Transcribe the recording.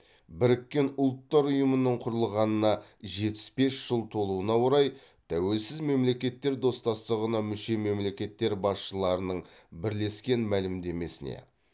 біріккен ұлттар ұйымының құрылғанына жетпіс бес жыл толуына орай тәуелсіз мемлекеттер достастығына мүше мемлекеттер басшыларының бірлескен мәлімдемесіне